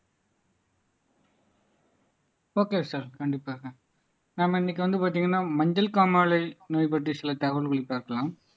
okay sir கண்டிப்பாக நாம இன்னைக்கு வந்து பார்த்தீங்கன்னா மஞ்சள் காமாலை நோய் பற்றி சில தகவல்களை பார்க்கலாம்